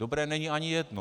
Dobré není ani jedno.